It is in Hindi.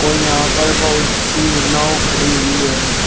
और यहां पर बहुत सी नाव खड़ी हुई हैं।